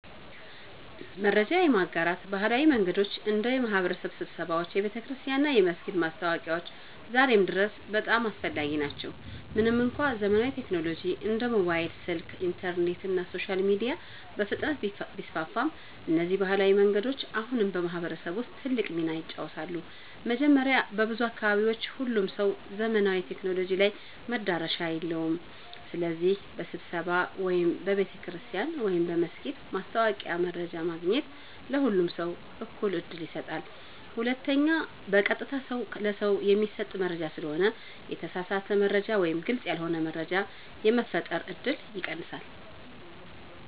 መረጃ የማጋራት ባህላዊ መንገዶች እንደ የማህበረሰብ ስብሰባዎች፣ የቤተክርስቲያን እና የመስጊድ ማስታወቂያዎች ዛሬም ድረስ በጣም አስፈላጊ ናቸው። ምንም እንኳ ዘመናዊ ቴክኖሎጂዎች እንደ ሞባይል ስልክ፣ ኢንተርኔት እና ሶሻል ሚዲያ በፍጥነት ቢስፋፉም፣ እነዚህ ባህላዊ መንገዶች አሁንም በማህበረሰብ ውስጥ ትልቅ ሚና ይጫወታሉ። መጀመሪያ፣ በብዙ አካባቢዎች ሁሉም ሰው ዘመናዊ ቴክኖሎጂ ላይ መዳረሻ የለውም። ስለዚህ በስብሰባ ወይም በቤተ ክርስቲያን/መስጊድ ማስታወቂያ መረጃ ማግኘት ለሁሉም ሰው እኩል ዕድል ይሰጣል። ሁለተኛ፣ በቀጥታ ሰው ለሰው የሚሰጥ መረጃ ስለሆነ የተሳሳተ መረጃ ወይም ግልጽ ያልሆነ መረጃ የመፈጠር እድል ይቀንሳል።